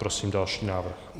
Prosím další návrh.